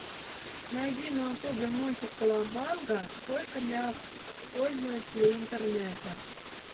найди на ютубе мультик колобанга только для пользователей интернета